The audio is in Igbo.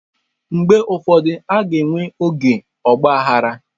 Mgbe ụfọdụ, a ga-enwe oge ọgba aghara.